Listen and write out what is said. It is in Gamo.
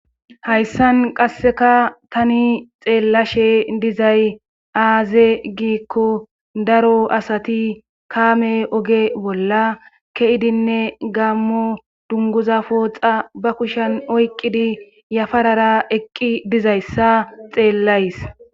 Hayssan qasseka tani xeellashe dizay aaze giikko daro asati kaame oge bolla ke7idinne gaammo dunguza pooxa ba kushan oyqqidi yafarara eqqi dizayssa xeellays